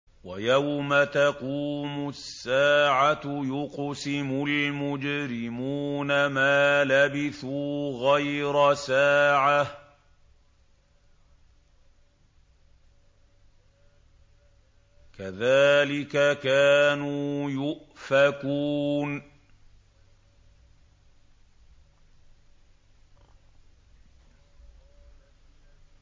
وَيَوْمَ تَقُومُ السَّاعَةُ يُقْسِمُ الْمُجْرِمُونَ مَا لَبِثُوا غَيْرَ سَاعَةٍ ۚ كَذَٰلِكَ كَانُوا يُؤْفَكُونَ